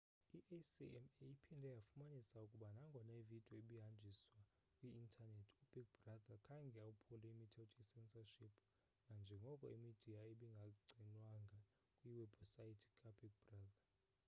i-acma iphinde yafumanisa ukuba nagona ividiyo ibihanjiswa kwi-intanethi ubig brother khange ophule imithetho ye-censorship nanjengoko imidiya ibingagcinwanga kwiwebhusaythi kabig brother